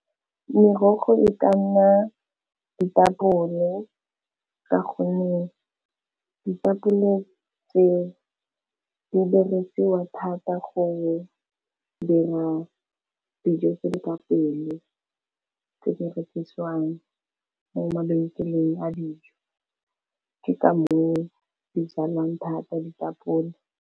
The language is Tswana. Merogo e ka nna ditapole ka gonne ditapole tseo, di dirisiwa thata go dira dijo tse di ka pele tse di rekisiwang mo mabenkeleng a dijo ke ka moo di jalwang thata ditapole.